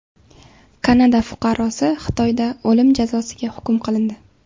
Kanada fuqarosi Xitoyda o‘lim jazosiga hukm qilindi.